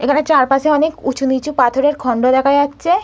এইখানে চারপাশে অনেক উঁচুনিচু পাথরের খন্ড দেখা যাচ্ছে।